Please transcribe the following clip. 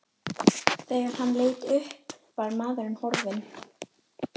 Þegar hann leit upp var maðurinn horfinn.